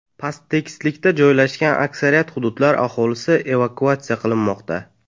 Pasttekislikda joylashgan aksariyat hududlar aholisi evakuatsiya qilinmoqda.